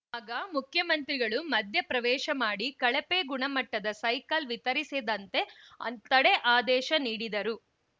ಆಗ ಮುಖ್ಯಮಂತ್ರಿಗಳು ಮಧ್ಯ ಪ್ರವೇಶ ಮಾಡಿ ಕಳಪೆ ಗುಣಮಟ್ಟದ ಸೈಕಲ್‌ ವಿತರಿಸದಂತೆ ತಡೆ ಆದೇಶ ನೀಡಿದರು